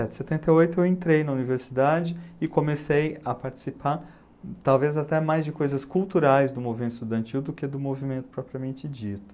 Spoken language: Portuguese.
e sete setenta e oito, eu entrei na universidade e comecei a participar talvez até mais de coisas culturais do movimento estudantil do que do movimento propriamente dito.